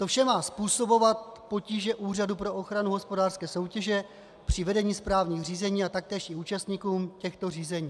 To vše má způsobovat potíže Úřadu pro ochranu hospodářské soutěže při vedení správních řízení a taktéž i účastníkům těchto řízení.